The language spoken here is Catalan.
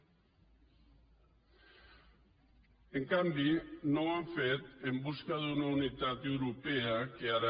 en canvi no ho han fet en busca d’una unitat europea que ara